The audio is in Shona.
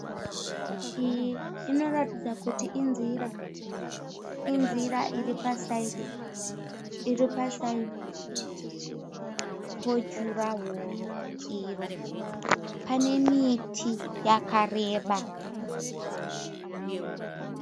Iyi inoratidza kuti inzira. Inzira iri pasaidhi, iri pasaidhi pojurahoro iro, pane miti yakareba.